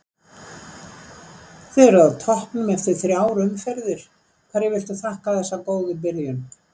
Þið eruð á toppnum eftir þrjár umferðir, hverju viltu þakka þessa góðu byrjun?